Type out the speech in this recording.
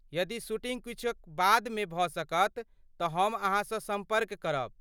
यदि शूटिँग किछु बादमे भऽ सकत तँ हम अहाँसँ सम्पर्क करब।